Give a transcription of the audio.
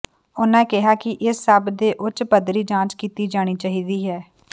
ਉਹਨਾਂ ਕਿਹਾ ਕਿ ਇਸ ਸਭ ਦੇ ਉੱਚ ਪੱਧਰੀ ਜਾਂਚ ਕੀਤੀ ਜਾਣੀ ਚਾਹੀਦੀ ਹੈ